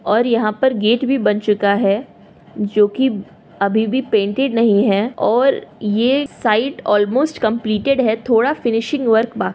और यहाँ पर गेट भी बन चूका है जोकि अभी भी पेंटेड नहीं है और ये साइट ऑलमोस्ट कम्पलीटएड है थोड़ा फिनिशिंग वर्क बा --